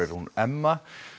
hún Emma